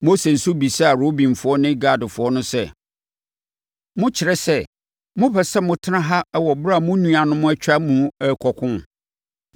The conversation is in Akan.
Mose nso bisaa Rubenfoɔ ne Gadfoɔ no sɛ, “Mokyerɛ sɛ, mopɛ sɛ motena ha wɔ ɛberɛ a mo nuanom atwa mu rekɔko?